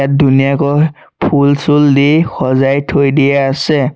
ধুনীয়াকৈ ফুল চুল দি সজাই থৈ দিয়া আছে।